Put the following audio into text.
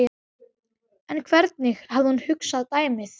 En hvernig hafði hún hugsað dæmið?